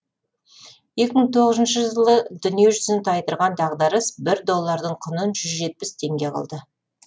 екі мың тоғызыншы жылы дүниежүзін тайдырған дағдарыс бір доллардың құнын жүз жетпіс теңге қылды